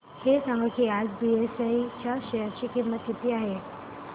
हे सांगा की आज बीएसई च्या शेअर ची किंमत किती आहे